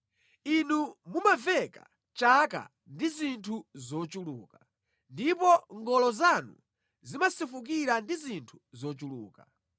Inu mumaveka chaka ndi zinthu zochuluka, ndipo ngolo zanu zimasefukira ndi zinthu zochuluka.